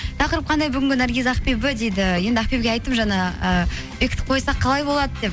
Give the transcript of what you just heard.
тақырып қандай бүгінгі наргиз ақбибі дейді енді ақбибіге айттым жаңа і бекітіп қойсақ қалай болады деп